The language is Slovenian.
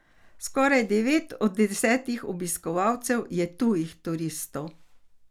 Skoraj devet od desetih obiskovalcev je tujih turistov.